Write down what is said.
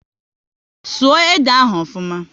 Sụọ ede ahu ofuma!